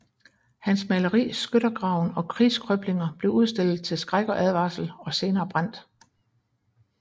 Hans maleri Skyttergraven og Krigskrøblinger blev udstillet til skræk og advarsel og senere brændt